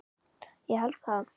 Ég held það?